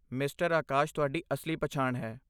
Mister Akash ਤੁਹਾਡੀ ਅਸਲੀ ਪਛਾਣ ਹੈ।